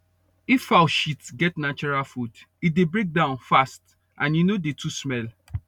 if fowl shit get natural food e dey break down fast and e no dey too smell